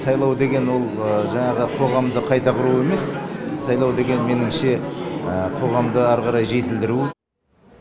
сайлау деген ол жаңағы қоғамды қайта құру емес сайлау деген меніңше қоғамды ары қарай жетілдіру